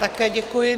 Také děkuji.